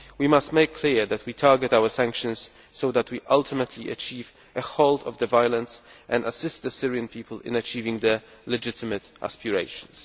We must make it clear that we are targeting our sanctions so that we can ultimately achieve a halt to the violence and assist the Syrian people to accomplish their legitimate aspirations.